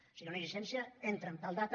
o sigui una llicència entra en tal data